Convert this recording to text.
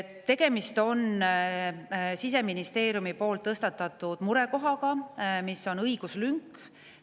Tegemist on Siseministeeriumi tõstatatud murekohaga, mis on õiguslünk.